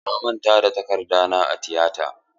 Na manta da takarda na a tiyata.